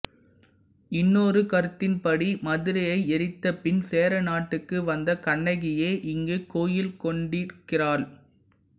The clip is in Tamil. இன்னொரு கருத்தின்படி மதுரையை எரித்தபின் சேர நாட்டுக்கு வந்த கண்ணகியே இங்கு கோயில் கொண்டிருக்கிறாள்